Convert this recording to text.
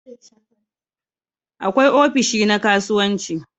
Akwai ofishi na kasuwanci